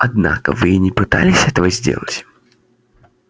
однако вы и не пытались этого сделать